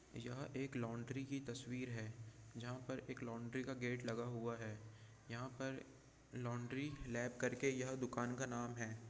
यह एक लॉन्ड्री की तस्वीर है जहाँ पर एक लॉन्ड्री का गेट लगा हुआ है। यहाँ पर लॉन्ड्री लैब करके यह दुकान का नाम है।